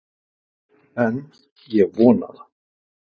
En ég vona það.